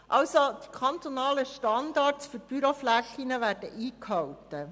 Die kantonalen Standards für Büroflächen werden also eingehalten.